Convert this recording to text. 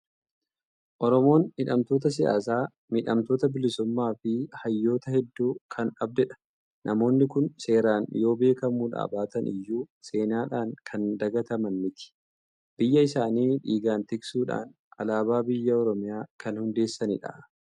Oromoon hidhamtoota siyyaasaa, miidhamtoota bilisummaa fi hayyoota hedduu kan dhabdedha. Namoonni kun seeraan yoo beekamuudhaa baatan iyyuu seenaadhaan kan dagataman miti! Biyya isaanii dhiigaan tiksuudhaan Alaabaa biyya Oromiyaa kan hundeessanidha.